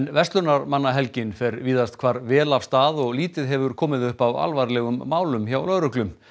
verslunarmannahelgin fer víðast hvar vel af stað og lítið hefur komið upp af alvarlegum málum hjá lögreglu